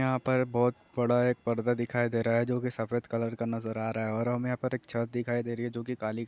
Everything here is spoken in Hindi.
यहाँ पर बोहुत बड़ा एक पर्दा दिखाई दे रहा है जो सफ़द कलर का नज़र आ रहा है और यहाँ पर हमे एक छत दिखाई देरी है जो की काली --